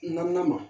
Naaninan ma